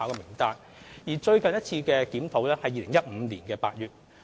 參考名單最近一次檢討在2015年8月進行。